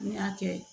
N'i y'a kɛ